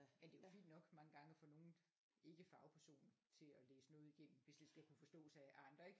Men det er jo fint nok mange gange at få nogle ikke fagperson til at læse noget igennem hvis det skal kunne forstås af andre ik